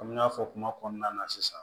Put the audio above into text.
Komi n y'a fɔ kuma kɔnɔna na sisan